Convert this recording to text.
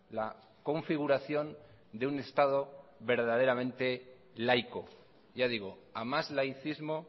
la configuración de un estado verdaderamente laico ya digo a más laicismo